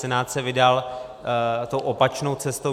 Senát se vydal tou opačnou cestou.